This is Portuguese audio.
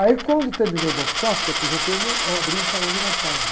Aí, quando terminou o Banco de Safra, que eu aposentei, uma, abrir um salão de massagem.